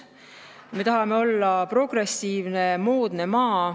Me tahame olla progressiivne, moodne maa.